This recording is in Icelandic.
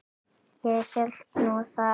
Ég hélt nú það.